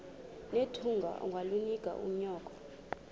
nethunga ungalinik unyoko